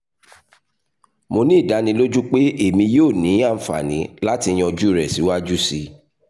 mo ni idaniloju pe emi yoo ni anfani lati yanju rẹ siwaju sii